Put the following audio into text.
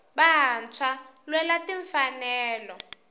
vantshwava lwela tinfanelo